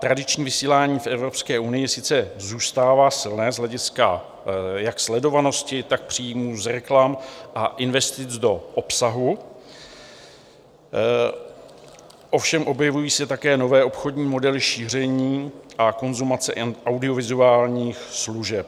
Tradiční vysílání v Evropské unii sice zůstává silné z hlediska jak sledovanosti, tak příjmů z reklam a investic do obsahu, ovšem objevují se také nové obchodní modely šíření a konzumace audiovizuálních služeb.